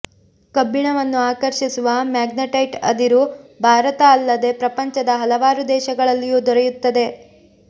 ಕಬ್ಬಿಣವನ್ನು ಆಕರ್ಷಿಸುವ ಮ್ಯಾಗ್ನೆಟೈಟ್ ಅದಿರು ಭಾರತ ಅಲ್ಲದೇ ಪ್ರಪಂಚದ ಹಲವಾರು ದೇಶಗಳಲ್ಲಿಯೂ ದೊರೆಯುತ್ತದೆ